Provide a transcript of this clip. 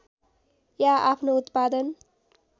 या आफ्नो उत्पादन